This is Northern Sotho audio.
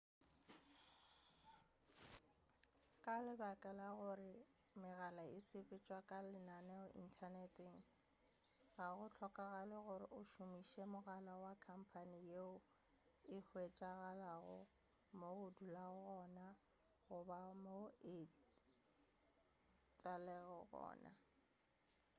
ka baka la gore megala e sepetšwa ka lenaneo inthaneteng ga go hlokagale gore o šomiše mogala wa khamphane yeo e hwetšagalago mo o dulago gona goba mo o etelago gona